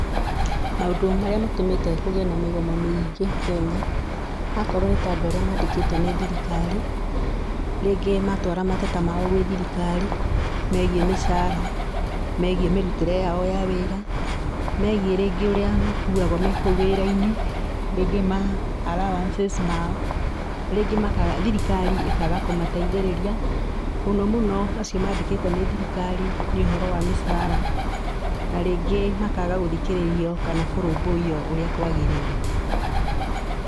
Maũndũ marĩa matũmĩte kũgĩe na mĩgomo mĩingĩ Kenya, akorwo nĩ ta andũ arĩa mandĩkĩtwo nĩ thirikari, rĩngĩ matwara mateta mao gwĩ thirikari meigiĩ mĩcaara, meigiĩ mĩrutĩre yao ya wĩra, meigiĩ rĩngĩ ũrĩa makuagwo me kũu wĩra-inĩ, rĩngĩ ma allowances mao, rĩngĩ makaga, thirikari ĩkaga kũmateithĩrĩria, mũno mũno acio mandĩkĩtwo nĩ thirikari nĩ ũhoro wa mĩcaara, na rĩngĩ makaga gũthikĩrĩrio kana kũrũmbũyio ũrĩa kwagĩrĩire.